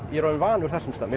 ég er orðinn vanur þessum stað